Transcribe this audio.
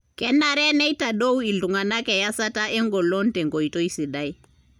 kenare neitadou iltungana eyasata engolon tenkoitoi sidai.